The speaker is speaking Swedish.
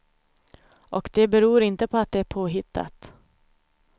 Och det beror inte på att det är påhittat.